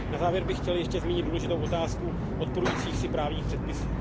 Na závěr bych chtěl ještě zmínit důležitou otázku odporujících si právních předpisů.